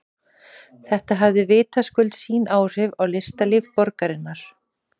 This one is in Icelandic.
Þetta hafði vitaskuld sín áhrif á listalíf borgarinnar.